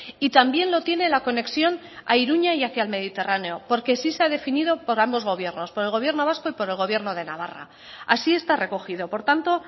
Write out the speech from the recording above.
y también lo tiene la conexión a iruña y hacia el mediterráneo porque sí se ha definido por ambos gobiernos por el gobierno vasco y por el gobierno de navarra así está recogido por tanto